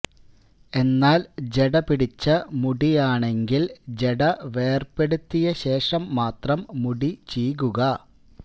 എന്നാല് ജട പിടിച്ച മുടിയാണെങ്കില് ജട വേര്പെടുത്തിയ ശേഷം മാത്രം മുടി ചീകുക